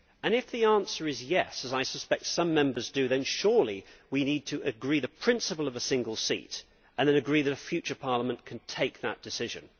If the answer is yes', as I suspect it is for some Members, then surely we need to agree the principle of a single seat, and then agree that a future Parliament can take that decision.